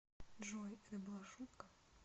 джой это была шутка